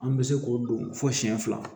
An bɛ se k'o don fɔ siyɛn fila